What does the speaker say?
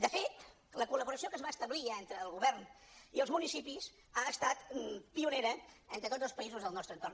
de fet la col·laboració que es va establir entre el govern i els municipis ha estat pionera entre tots els països del nostre entorn